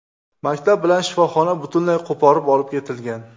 Maktab bilan shifoxona butunlay qo‘porib olib ketilgan.